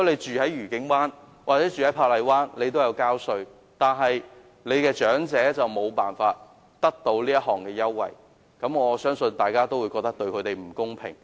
住在愉景灣或珀麗灣的市民同樣有繳稅，但他們的長者卻無法享用這優惠，我相信大家會覺得這對他們不公平。